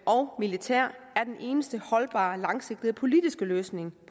og militær er den eneste holdbare langsigtede politiske løsning